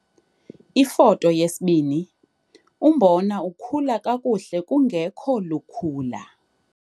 Ifoto 2- Umbona okhula kakuhle kungekho lukhula.